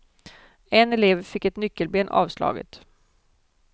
En elev fick ett nyckelben avslaget.